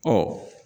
Ɔ